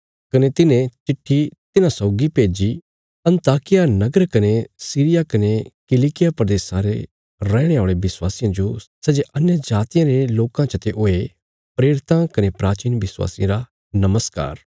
कने तिन्हें चिट्ठी तिन्हांरे साथ भेज्जी अन्ताकिया नगर कने सीरिया कने किलिकिया प्रदेशा रे रैहणे औल़े विश्वासियां जो सै जे अन्यजातियां रे लोकां चते हुये प्रेरितां कने प्राचीन विश्वासियां रा नमस्कार